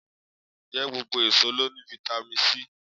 Ǹjẹ́ gbogbo èso ló ní fáítámì C?